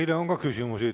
Teile on ka küsimusi.